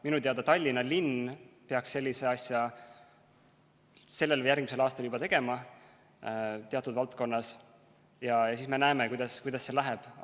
Minu teada Tallinna linn peaks sellise asja sellel või järgmisel aastal juba tegema teatud valdkonnas, ja siis me näeme, kuidas see läheb.